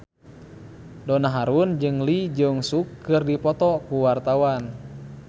Donna Harun jeung Lee Jeong Suk keur dipoto ku wartawan